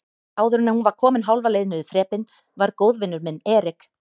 Áðuren hún var komin hálfa leið niður þrepin var góðvinur minn Erik